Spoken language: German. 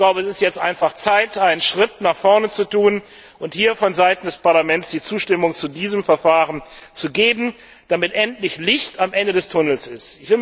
Es ist jetzt einfach Zeit, einen Schritt nach vorne zu tun und hier von Seiten des Parlaments die Zustimmung zu diesem Verfahren zu geben, damit endlich Licht am Ende des Tunnels